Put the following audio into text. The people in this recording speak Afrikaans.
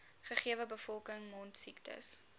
gegewe bevolking mondsiektes